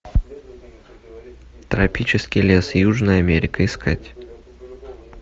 тропический лес южная америка искать